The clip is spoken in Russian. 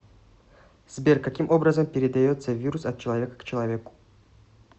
сбер каким образом передается вирус от человека к человеку